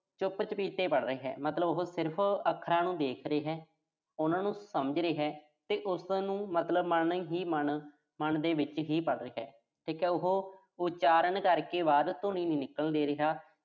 ਚੁਪ-ਚਪੀਤੇ ਪੜ੍ਹ ਰਿਹਾ, ਮਤਲਬ ਉਹੋ ਸਿਰਫ਼, ਅੱਖਰਾਂ ਨੂੰ ਦੇਖ ਰਿਹਾ। ਉਨ੍ਹਾਂ ਨੂੰ ਸਮਝ ਰਿਹਾ। ਤੇ ਉਸਨੂੰ ਮਤਲਬ ਮਨ ਹੀ ਮਨ, ਮਨ ਦੇ ਵਿੱਚ ਹੀ ਪੜ੍ਹ ਰਿਹਾ। ਠੀਕ ਆ ਉਹੋ, ਉਚਾਰਨ ਕਰਕੇ ਬਾਹਰ ਧੁਨੀ ਨੀਂ ਨਿਕਲਣ ਦੇ ਰਿਹਾ।